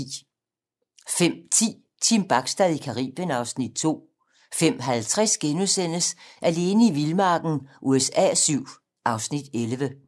05:10: Team Bachstad i Caribien (Afs. 2) 05:50: Alene i vildmarken USA VII (Afs. 11)*